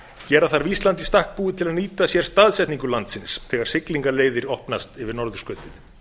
gera þarf ísland í stakk búið til að nýta sér staðsetningu landsins þegar siglingaleiðir opnast yfir norðurskautið